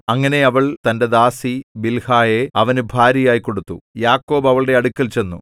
അങ്ങനെ അവൾ തന്റെ ദാസി ബിൽഹായെ അവന് ഭാര്യയായി കൊടുത്തു യാക്കോബ് അവളുടെ അടുക്കൽ ചെന്നു